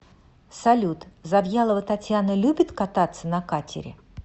салют завьялова татьяна любит кататься на катере